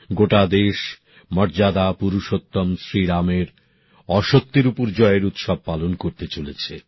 গোটা দেশ মর্যাদা পুরুষত্তোম শ্রীরামের অসত্যের উপর জয়ের উৎসব পালন করতে চলেছে